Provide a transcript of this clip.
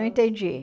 Não entendi.